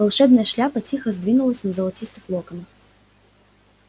волшебная шляпа тихо сдвинулась на золотистых локонах